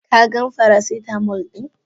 Ka gan faracitamol din?